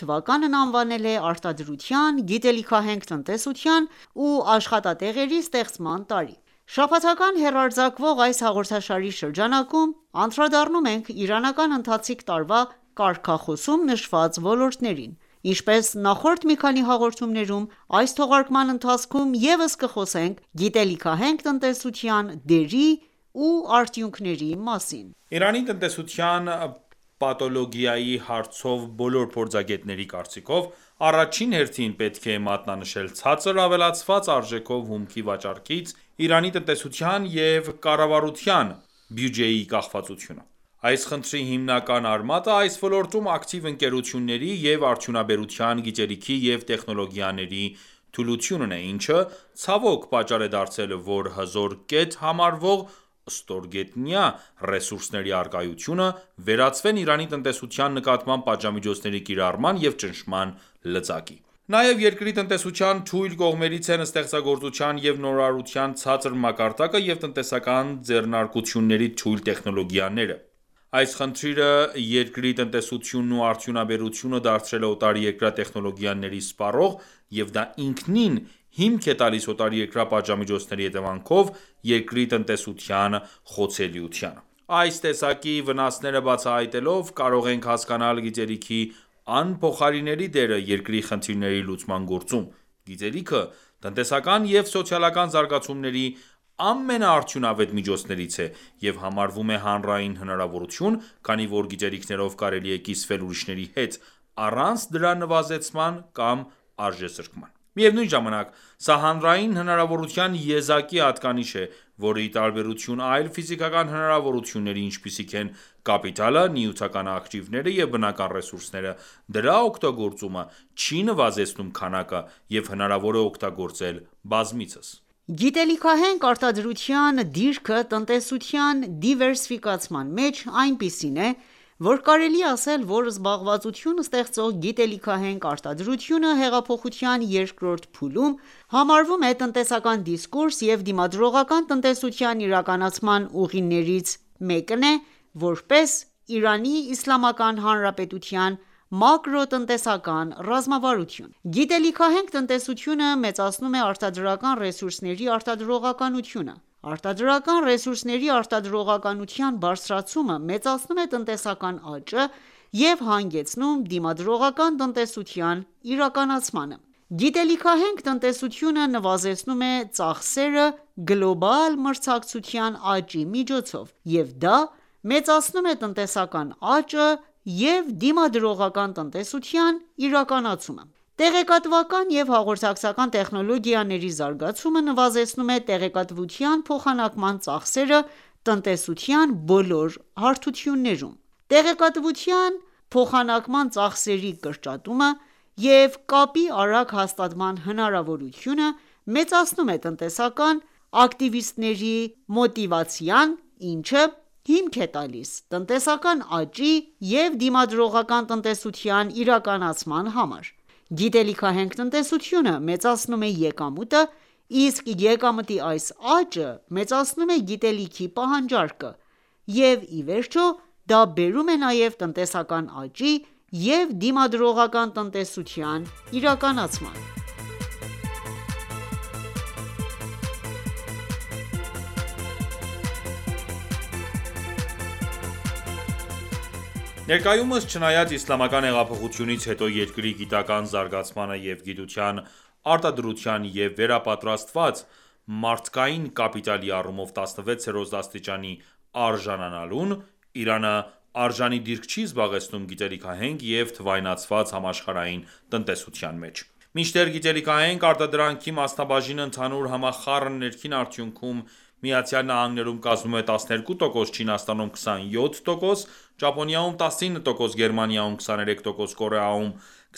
թվականն անվանել է «Արտադրության, գիտելիքահենք տնտեսության ու աշխատատեղերի ստեղծման տարի»: Շաբաթական հեռարձակվող այս հաղորդաշարի շրջանակում անդրադառնում ենք իրանական ընթացիկ տարվա կարգախոսում նշված ոլորտներին:Ինչպես նախորդ մի քանի հաղորդումներում, այս թողարկման ընթացքում ևս կխոսենք գիտելիքահենք տնտեսության դերի ու արդյունքների մասին: Իրանի տնտեսության պաթոլոգիայի հարցով բոլոր փորձագետների կարծիքով, առաջին հերթին պետք է մատնանշել ցածր ավելացված արժեքով հումքի վաճառքից Իրանի տնտեսության և կառավարության բյուջեի կախվածությունը։ Այս խնդրի հիմնական արմատը այս ոլորտում ակտիվ ընկերությունների ու արդյունաբերության գիտելիքի և տեխնոլոգիաների թուլությունն է, ինչը, ցավոք, պատճառ է դարձել, որ հզոր կետ համարվող ստորգետնյա ռեսուրսների առկայությունը, վերածվեն Իրանի տնտեսության նկատմամբ պատժամիջոցների կիրառման և ճնշման լծակի։ Նաև երկրի տնտեսության թույլ կողմերից են ստեղծագործության և նորարարության ցածր մակարդակը և տնտեսական ձեռնարկությունների թույլ տեխնոլոգիաները։ Այս խնդիրը երկրի տնտեսությունն ու արդյունաբերությունը դարձրել է օտարերկրյա տեխնոլոգիաների սպառող, և դա ինքնին հիմք է տալիս օտարերկրյա պատժամիջոցների հետևանքով երկրի տնտեսության խոցելիությանը։ Այս տեսակի վնասները բացահայտելով՝ կարող ենք հասկանալ գիտելիքի անփոխարինելի դերը երկրի խնդիրների լուծման գործում։ Գիտելիքը տնտեսական և սոցիալական զարգացումների ամենաարդյունավետ միջոցներից է և համարվում է հանրային հնարավորություն, քանի որ գիտելիքներով կարելի է կիսվել ուրիշների հետ՝ առանց դրա նվազեցման կամ արժեզրկման:Միևնույն ժամանակ, սա հանրային հնարավորության եզակի հատկանիշն է, որը, ի տարբերություն այլ ֆիզիկական հնարավորությունների(ինչպիսիք են ՝կապիտալը, նյութական ակտիվները և բնական ռեսուրսները), դրա օգտագործումը չի նվազեցնում քանակը և հնարավոր է օգտագործել բազմիցս։ Գիտելիքահենք արտադրության դիրքը տնտեսության դիվերսիֆիկացման մեջ այնպիսին է, որ կարելի է ասել, որ զբաղվածություն ստեղծող գիտելիքահենք արտադրությունը հեղափոխության երկրորդ փուլում համարվում է տնտեսական դիսկուրս և դիմադրողական տնտեսության իրականացման ուղիներից մեկն է ՝որպես Իրանի Իսլ. Հանրապետության մակրոտնտեսական ռազմավարություն։ Գիտելիքահենք տնտեսությունը մեծացնում է արտադրական ռեսուրսների արտադրողականությունը։ Արտադրական ռեսուրսների արտադրողականության բարձրացումը մեծացնում է տնտեսական աճը և հանգեցնում դիմադրողական տնտեսության իրականացմանը։ Գիտելիքահենք տնտեսությունը նվազեցնում է ծախսերը՝ գլոբալ մրցակցության աճի միջոցով, և դա մեծացնում է տնտեսական աճը և դիմադրողական տնտեսության իրականացումը:Տեղեկատվական և հաղորդակցական տեխնոլոգիաների զարգացումը նվազեցնում է տեղեկատվության փոխանակման ծախսերը տնտեսության բոլոր հարթություններում։ Տեղեկատվության փոխանակման ծախսերի կրճատումը և կապի արագ հաստատման հնարավորությունը մեծացնում է տնտեսական ակտիվիստների մոտիվացիան, ինչը հիմք է տալիս տնտեսական աճի և դիմադրողական տնտեսության իրականացման համար։ Գիտելիքահենք տնտեսությունը մեծացնում է եկամուտը, իսկ եկամտի այս աճը մեծացնում է գիտելիքի պահանջարկը, և, ի վերջո, դա բերում է նաև տնտեսական աճի և դիմադրողական տնտեսության իրականացման: Ներկայումս, չնայած իսլամական հեղափոխությունից հետո երկրի գիտական ​​զարգացմանը և գիտության արտադրության և վերապատրաստված մարդկային կապիտալի առումով16-րդ աստիճանի արժանանալուն, Իրանը արժանի դիրք չի զբաղեցնում գիտելիքահենք և թվայնացված համաշխարհային տնտեսության մեջ :Մինչդեռ գիտելիքահենք արտադրանքի մասնաբաժինը ընդհանուր համախառն ներքին արդյունքում ՝ԱՄՆ-ում կազմում է 12% ,Չինաստանում 27%, Ճապոնիայում19%, Գերմանիայում 23%, Կորեայում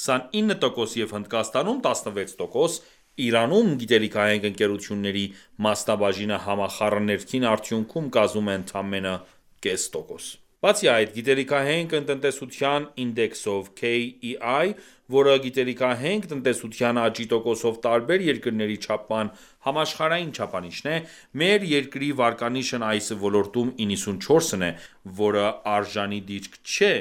29% և Հնդկաստանում 16%, Իրանում, գիտելիքահենք ընկերությունների մասնաբաժինը համախառն ներքին արդյունքում կազմում է ընդամենը կես տոկոս։ Բացի այդ, գիտելիքահենք տնտեսության ինդեքսով (KEI), որը գիտելիքահենք տնտեսության աճի տոկոսով տարբեր երկրների չափման համաշխարհային չափանիշ է, մեր երկրի վարկանիշն այս ոլորտում 94-ն է,որը արժանի դիրք չէ,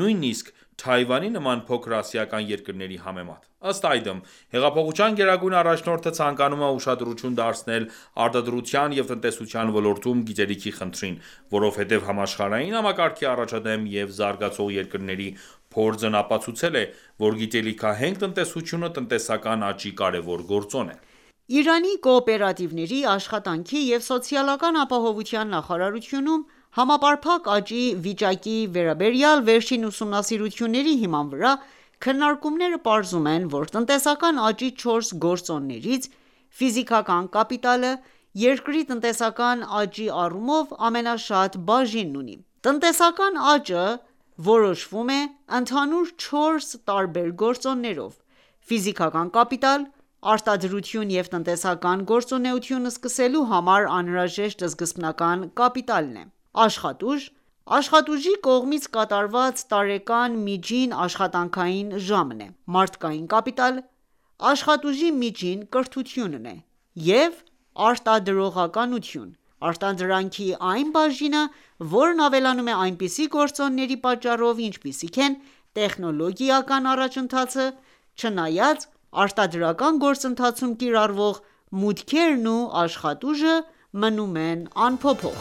նույնիսկ Թայվանի նման փոքր ասիական երկրների համեմատ:Ըստ այդմ, հեղափոխության գերագույն առաջնորդը ցանկանում է ուշադրություն դարձնել արտադրության և տնտեսության ոլորտում գիտելիքի խնդրին, որովհետև համաշխարհային համակարգի առաջադեմ և զարգացող երկրների փորձն ապացուցել է, որ գիտելիքահենք տնտեսությունը տնտեսական աճի կարևոր գործոն է։ Իրանի կոոպերատիվների, աշխատանքի և սոցիալական ապահովության նախարարությունում համապարփակ աճի վիճակի վերաբերյալ վերջին ուսումնասիրությունների հիման վրա, քննարկումները պարզում են ,որ տնտեսական աճի 4 գործոններից՝ֆիզիկական կապիտակլը երկրի տնտեսական աճի առումով ամենաշատ բաժինն ունի: Տնտեսական աճը որոշվում է ընդհանուր չորս տարբեր գործոններով՝Ֆիզիկական կապիտալ (արտադրություն և տնտեսական գործունեություն սկսելու համար անհրաժեշտ սկզբնական կապիտալը), աշխատուժ (աշխատուժի կողմից կատարված տարեկան միջին աշխատանքային ժամը), մարդկային կապիտալ (աշխատուժի միջին կրթությունը) և արտադրողականություն.(Արտադրանքի այն բաժինը, որն ավելանում է այնպիսի գործոնների պատճառով, ինչպիսիք են՝ տեխնոլոգիական առաջընթացը, չնայած արտադրական գործընթացում կիրառվող մուտքերն ու աշխատուժը մնում են անփոփոխ):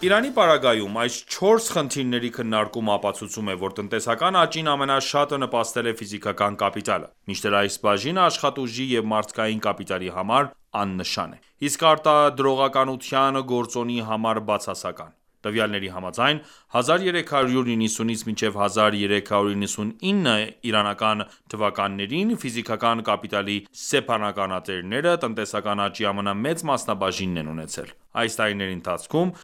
Իրանի պարագայում այս 4 խնդիրների քննարկումը ապացուցում է, որ տնտեսական աճին ամենաշատը նպաստել է ֆիզիկական կապիտալը, մինչդեռ այս բաժինը աշխատուժի և մարդկային կապիտալի համար աննշան է, իսկ արտադրողականության գործոնի համար բացասական։ Տվյալների համաձայն, 1390-1399 թվականներին ֆիզիկական կապիտալի սեփականատերերը տնտեսական աճի ամենամեծ մասնաբաժինն են ունեցել: Այս տարիների ընթացքում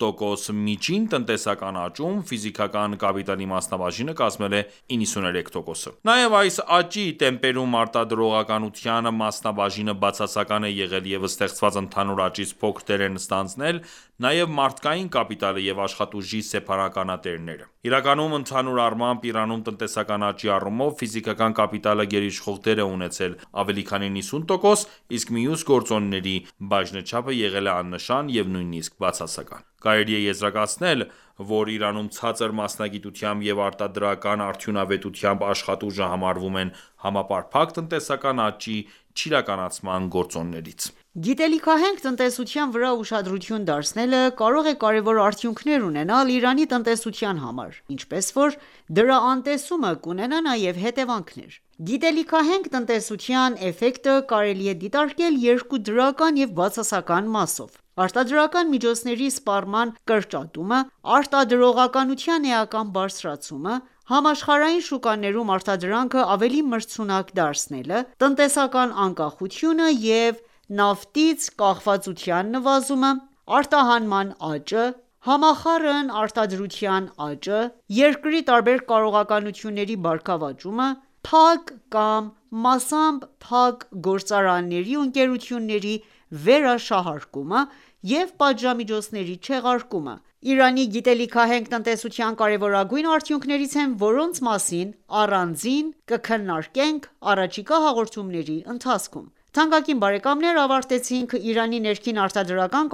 4,4%միջին տնտեսական աճում, ֆիզիկական կապիտալի մասնաբաժինը կազմել է 93%-ը:Նաև այս աճի տեմպերում արտադրողականության մասնաբաժինը բացասական է եղել և ստեղծված ընդհանուր աճից փոքր դեր են ստանձնել նաև մարդկային կապիտալը և աշխատուժի սեփականատերերը։ Իրականում, ընդհանուր առմամբ, Իրանում տնտեսական աճի առումով, ֆիզիկական կապիտալը գերիշխող դեր է ունեցել (ավելի քան 90%), իսկ մյուս գործոնների բաժնեչափը եղել է աննշան և նույնիսկ բացասական։ Կարելի է եզրակացնել, որ Իրանում ցածր մասնագիտությամբ և արտադրական արդյունավետությամբ աշխատուժը համարվում են համապարփակ տնտեսական աճի չիրականացման գործոններից։ Գիտելիքահենք տնտեսության վրա ուշադրություն դարձնելը կարող է կարևոր արդյունքներ ունենալ Իրանի տնտեսության համար, ինչպես որ դրա անտեսումը կունենա նաև հետևանքներ։ Գիտելիքահենք տնտեսության էֆեկտը կարելի է դիտարկել երկու դրական և բացասական մասով:Արտադրական միջոցների սպառման կրճատումը, արտադրողականության էական բարձրացումը, համաշխարհային շուկաներում արտադրանքը ավելի մրցունակ դարձնելը, տնտեսական անկախությունը և նավթից կախվածության նվազումը, արտահանման աճը, համախառն արտադրության աճը, երկրի տարբեր կարողությունների բարգավաճումը, փակ կամ մասամբ փակ գործարանների ու ընկերությունների վերաշահարկումը և պատժամիջոցների չեղարկումը, Իրանի գիտելիքահենք տնտեսության կարեւորագույն արդյունքներից են ,որոնց մասին առանձին կքննարկենք առաջիկա հաղորդումների ընթացքում: Թանկագին բարեկամներ ավարտեցինք «Իրանի ներքին արտադրական